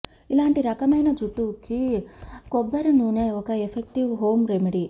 ఇలాంటి రకమైన జుట్టుకు కొబ్బరి నూనె ఒక ఎఫెక్టివ్ హోం రెమెడీ